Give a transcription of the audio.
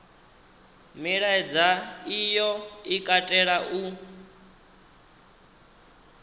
milaedza iyo i katela u